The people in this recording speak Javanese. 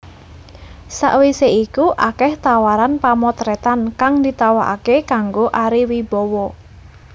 Sawisé iku akèh tawaran pamotrètan kang ditawakaké kanggo Ari Wibowo